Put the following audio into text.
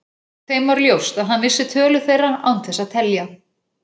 Þeim var ljóst að hann vissi tölu þeirra án þess að telja.